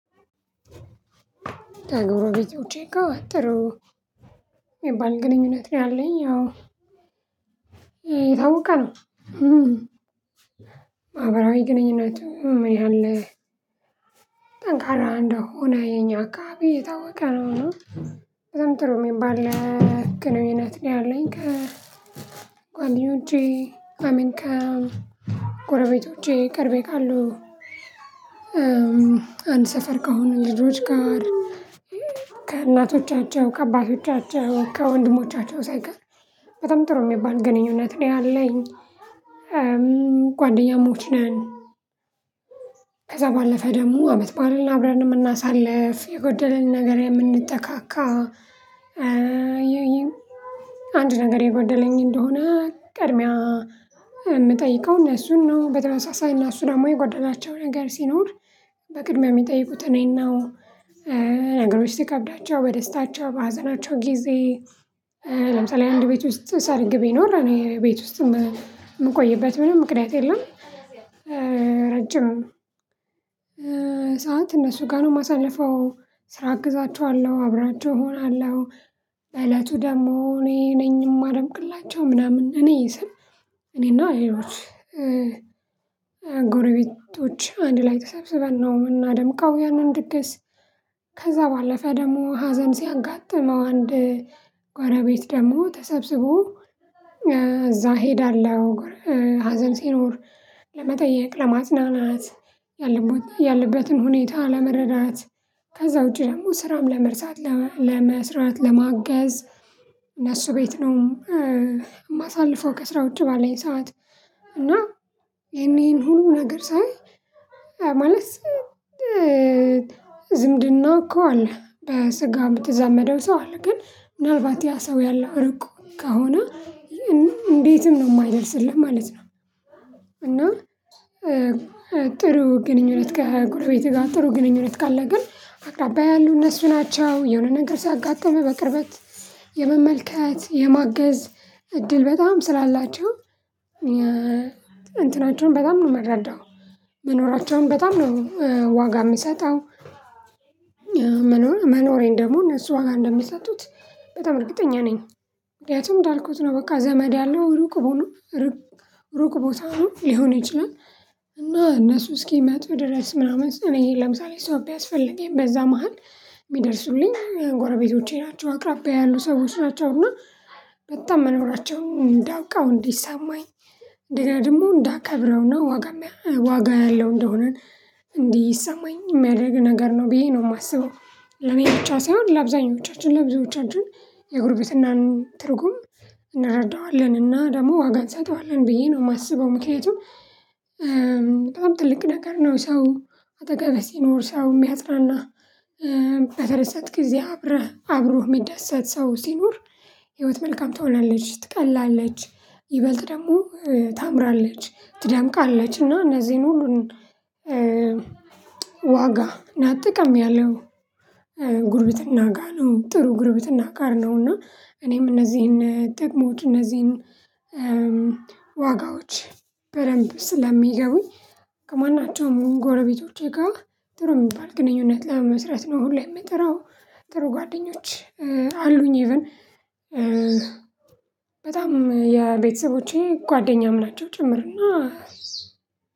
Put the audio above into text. ተ ጎሮቤቶቼ ጋር ጥሩ ሚባል ግንኙነት ነው ያለኝ አዎ ይታወቀ ነው። መሃብረሃዊ ግንኙነት ምን ያህል ጠንካራ እንደሆነ የኛ አካባቢ የታወቀ ነው። እና በጣም ጥሩ የሚባል ግኑኝነት ነው ያለኝ ከጓደኞቼ አይ ሚን ከጎረቤቶቼ ቀርቤ ካሉ አንድ ሰፈር ከአሁኑ ልጆች ጋር ከእናቶቻቸው ከአባቶቻቸው ከወንድሞቻቸው ሳይቀር በጣም ጥሩ የሚባል ግንኙነት ላይ አለኝ። ጓደኛሞች ነን። ከዛ ባለፈ ደግሞ አመት ባኣለን አብረን የምናሳልፍ የጎደለን ነገር የምንጠቃቃ። አንድ ነገር የጓደለኝ እንደሆነ ቅድሚያ እምጠይቀው እነሱን ነው። በተመሳሳይ እነሱ ደግሞ የጓደናቸው ነገር ሲኖር በቅድሚያ የሚጠይቁት እኔና ነገሮች ትከብዳቸው በደስታቸው በሀዘናቸው ጊዜ ለምሳሌ አንድ ቤት ውስጥ ሰርግ ቢኖር እኔ ቤት ውስጥም የምቆይበት ምንም ምክንያት የለም። ረጅም ሰዓት እነሱ ጋር ነው የማሳልፈው ስራ አግዛቸዋለሁ አብራቸው እሆናለሁ። በእለቱ ደግሞ እኔ ነኝ የማደምቅላቸው ምናምን እኔ ስል እኔና ሌሌች ጎረቤቶች አንድ ላይ ተሰብስበን ነው የምናደምቃው ያንን ድገስ። ከዛ ባለፈ ደግሞ ሀዘን ሲያጋጥመው አንድ ጎረቤት ደግሞ ተሰብስቦ እዛ እሄዳለሁ ሀዘን ሲኖር ለመጠየቅ ለማጽናናት ያለቦ ያለበትን ሁኔታ ለመረዳት ከዛ ውጪ ደግሞ ስራም ለመርሳት ለመስራት ለማገዝ። እነሱ ቤት ነው የማሳልፈው ከስራ ውጪ ባለን ሰዓት። እና ይሄን ይሄን ሁሉ ነገር ሳይ ማለት ዝምድና እኮ አለ በስጋ የምትዛመደው ሰው አለ ግን ምናልባት ያ ሰው ያለው እርቁ ከሆነ እንዴትም ነው የማይደርስልህ ማለት ነው። እና ጥሩ ግንኙነት ከጎረቤት ጋር ጥሩ ግንኙነት ካለ ግን አቅራባይ ያሉ እነሱ ናቸው የሆነ ነገር ሲያጋጥምህ በቅርበት የመመልከት የማገዝ እድል በጣም ስላላቸው። እንትናቸውን በጣም ነው የማረዳው መኖራቸውን በጣም ነው ዋጋ የሚሰጠው። መኖሬን ደግሞ እነሱ ዋጋ እንደሚሰጡት በጣም እርግጠኛ ነኝ። ምክንያቱም እንዳልኩት ነው በቃ ዘመድ ያለው ሩቅ ቦታ ሆኖ ሩቅ ቦታ ሆኖ ሊሆን ይችላል። እና እነሱ እስኪሚመጡ ድረስ ምናምን እኔ ለምሳሌ ሰው ቢያስፈልገኝ በዛ መሃል የሚደርሱልኝ የጎረቤቶቼ ናቸው አቅራቢያ ያሉ ሰዎች ናቸውና። በጣም መኖራቸውን እንዳውቃው እንዲሰማኝ እንደገና ደግሞ እንዳከብረውና ዋጋም ዋጋ ያለው እንደሆነን እንዲሰማኝ የሚያደርግ ነገር ነው ብዬ ነው የማስበው። ለኔ ብቻ ሳይሆን ለአብዛኞቻችን ለአብዞቻችን የእግር ቤትናን ትርጉም እንረዳዋለን እና ደግሞ ዋጋ እንሰጠዋለን ብዬ ነው የማስበው ምክንያቱም በጣም ትልቅ ነገር ነው። ሰው አጠገብህ ሲኖር ሰው የሚያጽናና በፈረሰት ጊዜ አብረህ አብሮህ የሚደሰት ሰው ሲኖር ህይወት መልካም ትሆናለች ትቀላለች። ይበልጥ ደግሞ ታምራለች ትዳምቃለች እና እነዚህን ሁሉን። ዋጋ እና ጥቅም ያለው ጉርብትና ጋር ነው ጥሩ ጉርብትና ጋር ነው። እና እኔም እነዚህን ጠቅሞት እነዚህን ዋጋዎች በደንብ ስለሚገቡኝ ከማናቸውም ጎረቤቶች ጋር ጥሩ የሚባል ግንኙነት ለመመስረት ነው ሁሌ የምጥረው። ጥሩ ጓደኞች አሉኝ ኢቭን በጣም የቤተሰቦቼ ጓደኛም ናቸው ጭምርና